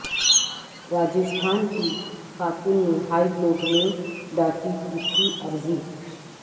راجستھان کی خاتون نے ہائی کورٹ میں داخل کی تھی عرضی